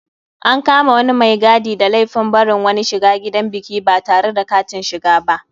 An kama wani mai gadi da laifin barin wani shiga gidan biki batare da katin shiga ba.